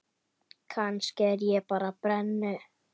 Kannski er ég bara brennu